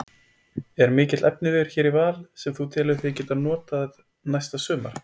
Er mikill efniviður hér í Val sem þú telur þig geta notað næsta sumar?